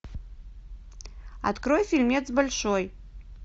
открой фильмец большой